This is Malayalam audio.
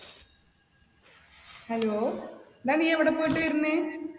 hello ഡാ നീ എവിടെ പോയിട്ട് വരുന്നേ?